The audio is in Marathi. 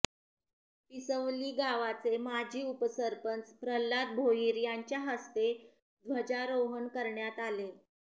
पिसवली गावाचे माजी उपसरपंच प्रल्हाद भोईर यांच्याहस्ते ध्वजारोहण करण्यात आले